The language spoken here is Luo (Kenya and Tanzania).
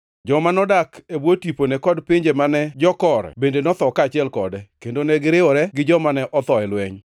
Joma nodak e bwo tipone kod pinje mane jokore bende notho kaachiel kode, kendo ne giriwore gi joma ne otho e lweny.